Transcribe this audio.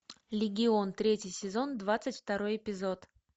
легион третий сезон двадцать второй эпизод